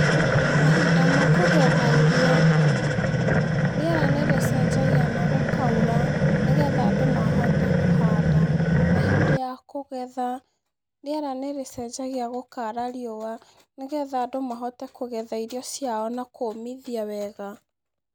Mahinda ma kũgetha irio rĩera nĩ rĩcenjagia na gũkaura nĩ getha andũ mahote kũhanda. Na hĩndĩ ya kũgetha, rĩera nĩ rĩcenjagia gũkara rĩũa, nĩ getha andũ mahote kũgetha irio ciao na kũmithia wega.